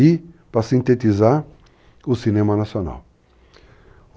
e para sintetizar o cinema nacional.